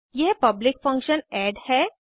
यह public function add है